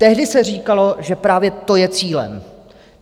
Tehdy se říkalo, že právě to je cílem.